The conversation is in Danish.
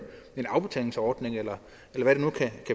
afbetalingsordning eller